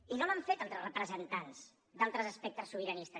i no l’han fet altres representants d’altres espectres sobiranistes